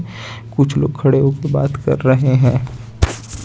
कुछ लोग खड़े हो के बात कर रहे हैं।